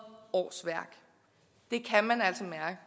årsværk det kan man altså mærke